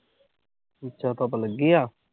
ਅੱਛਾ ਤੁਹਡੇ ਲੱਗੀ ਆ।